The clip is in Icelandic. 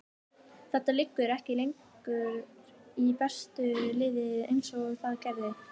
Þetta liggur ekki lengur í bestu liðin eins og það gerði.